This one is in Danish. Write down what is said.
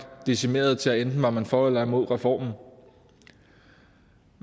decimeret til at enten var man for eller imod reformen